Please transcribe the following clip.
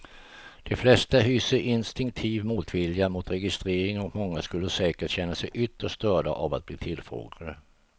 De flesta hyser instinktiv motvilja mot registrering och många skulle säkert känna sig ytterst störda av att bli tillfrågade.